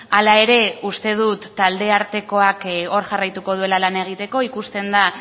hala ere uste dut talde artekoak hor jarraituko duela lan egiteko ikusten da